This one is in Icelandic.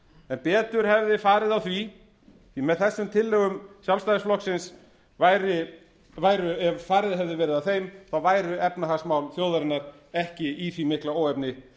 en betur hefði farið á því því að með þessum tillögum sjálfstæðisflokksins ef farið hefði verið að þeim væru efnahagsmál þjóðarinnar ekki í því mikla óefni